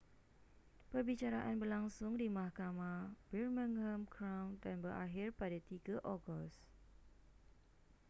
perbicaraan berlangsung di mahkamah birmingham crown dan berakhir pada 3 ogos